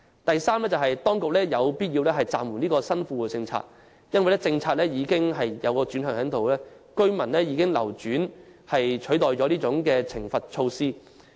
第三，當局有必要暫緩新富戶政策，因為政策已出現轉向，居民以流轉取代了懲罰措施。